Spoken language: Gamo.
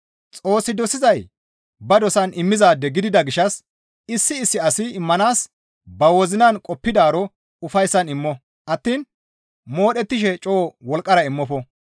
Xoossi dosizay ba dosan immizaade gidida gishshas issi issi asi immanaas ba wozinan qoppidaaro ufayssan immo attiin modhettishe coo wolqqara immofo.